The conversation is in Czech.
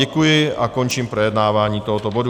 Děkuji a končím projednávání tohoto bodu.